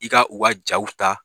I ka u ka jaw ta